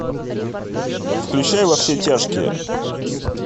включай во все тяжкие